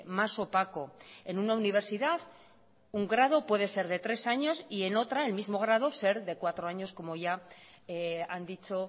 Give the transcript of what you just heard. más opaco en una universidad un grado puede ser de tres años y en otra el mismo grado ser de cuatro años como ya han dicho